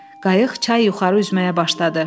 Qayıq çay yuxarı üzməyə başladı.